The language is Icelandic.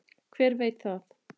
Hver veit það?